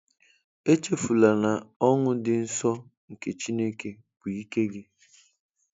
Echefula na ọṅụ dị nsọ nke Chineke bụ ike gị!